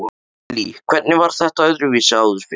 Lillý: Hvernig var þetta öðruvísi áður fyrr?